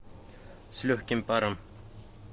с легким паром